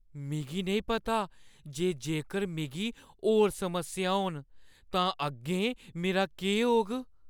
मिगी नेईं पता जे जेकर मिगी होर समस्यां होन तां अग्गें मेरा केह् होग।